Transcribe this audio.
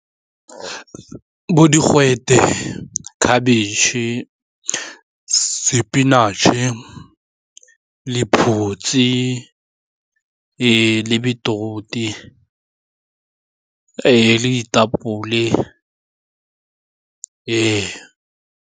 Bo digwete, khabetšhe, spinach-e, lephutsi le beetroot le ditapole .